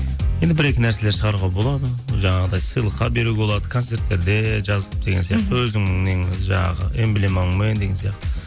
енді бір екі нәрселер шығаруға болады жаңағыдай сыйлыққа беруге болады концерттерде жазып деген сияқты өзің неңді жаңағы эмблемаңмен деген сияқты